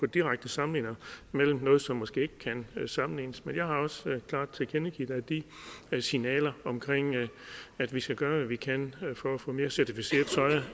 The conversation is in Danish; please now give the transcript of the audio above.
direkte sammenligninger med noget som måske ikke kan sammenlignes men jeg har også klart tilkendegivet at de signaler om at vi skal gøre hvad vi kan for at få mere certificeret